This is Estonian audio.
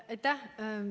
Aitäh!